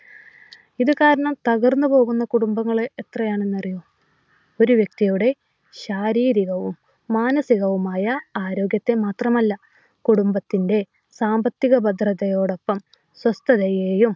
ഇത് കാരണം തകർന്നു പോകുന്ന കുടുംബങ്ങൾ എത്രയാന്നറിയോ. ഒരു വ്യക്തിയുടെ ശാരീരികവും മാനസികവുമായ ആരോഗ്യത്തെ മാത്രമല്ല കുടുംബത്തിന്റെ സാമ്പത്തിക ഭദ്രതയോടൊപ്പം സ്വസ്ഥതയേയും